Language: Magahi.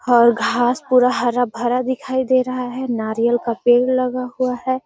और घास पूरा हरा-भरा दिखाई दे रहा है नारियल का पेड़ लगा हुआ है।